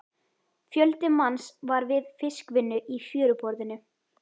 Fjöldi manns var við fiskvinnu í fjöruborðinu.